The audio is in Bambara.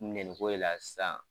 ko de la sisan.